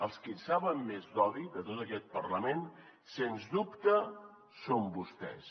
els qui en saben més d’odi de tot aquest parlament sens dubte són vostès